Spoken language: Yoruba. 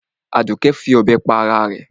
Àdùké fọ̀bẹ pa ara rẹ̀.